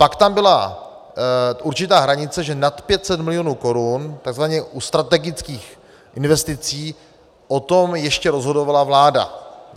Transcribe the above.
Pak tam byla určitá hranice, že nad 500 milionů korun, takzvaně u strategických investic, o tom ještě rozhodovala vláda.